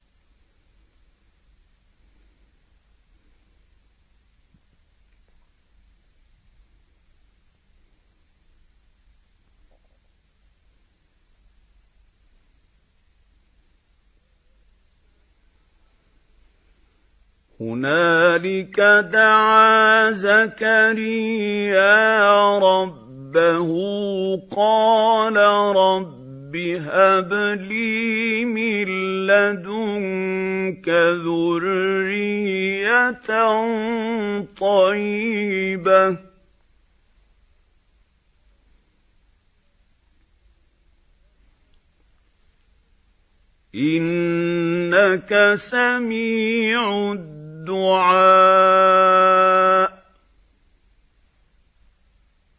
هُنَالِكَ دَعَا زَكَرِيَّا رَبَّهُ ۖ قَالَ رَبِّ هَبْ لِي مِن لَّدُنكَ ذُرِّيَّةً طَيِّبَةً ۖ إِنَّكَ سَمِيعُ الدُّعَاءِ